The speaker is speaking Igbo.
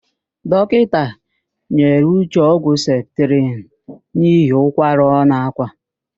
Dọkịnta nyere Uche ọgwụ septrịn n'ihi ụkwara ọ na-ákwà.